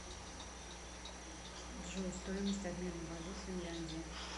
джой стоимость обмена валют финляндия